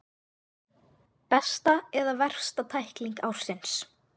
Besta eða versta tækling ársins?